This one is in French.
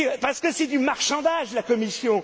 Parce que c'est du marchandage, la Commission!